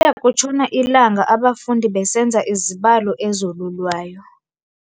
Kuya kutshona ilanga abafundi besenza izibalo ezolulwayo.